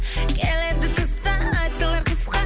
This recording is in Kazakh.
келеді тыстан айтылар қысқа